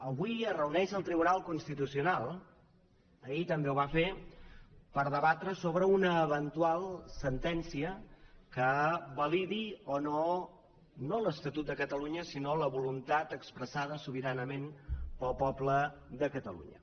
avui es reuneix el tribunal constitucional ahir també ho va fer per debatre sobre una eventual sentència que validi o no no l’estatut de catalunya sinó la voluntat expressada sobiranament pel poble de catalunya